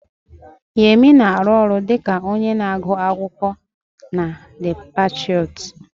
Yemi na-arụ ọrụ dị ka onye na-agụ akwụkwọ na The Patriots